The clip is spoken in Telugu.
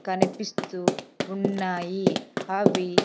కనిపిస్తూ ఉన్నాయి అవి--